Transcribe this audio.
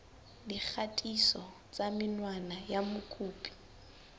dikgatiso tsa menwana ya mokopi